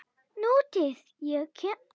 Nútíð- ég kem